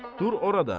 Dur orada.